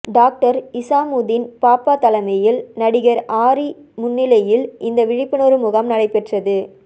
doctor Isamuddin Pappa தலைமையில் நடிகர் ஆரி முன்னிலையில் இந்த விழிப்புணர்வு முகாம் நடைபெற்றது